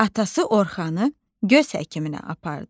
Atası Orxanı göz həkiminə apardı.